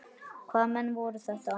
Hvaða menn voru þetta.